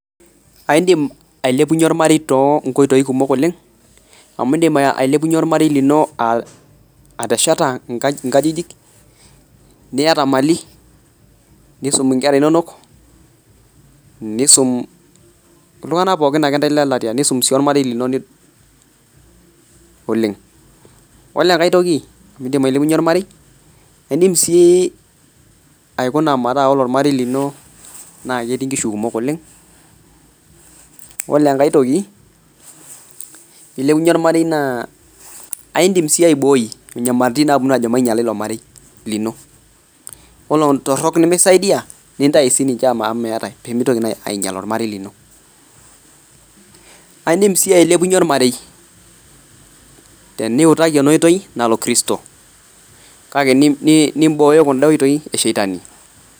Aidim ailepunye ormarei too inkoitoi kumok oleng' amu iindim ailepunye ormarei lino aa atesheta nka inkajijik, niyata mali, niisum inkera inonok niisum iltung'anak pookin ake ntae le latia niisum sii ormarei lino oleng'. Ole enkae toki niindim ailepunye ormarei iindim sii aikuna metaa ore ormarei lino naake etii inkishu kumok oleng'. Ole enkae toki piilepunye ormarei naa aindim sii aiboi inyamaliritin naaponu ajo mainyala ilo marei lino, yiolo intorok nemisaidia nintayu sininche ama meetai pee mintoki naa ainyal ormarei lino. Aa iindim sii ailepunye ormarei teniutaki ena oitoi nalo kristo kake nimboyo kunda oitoi e shetani.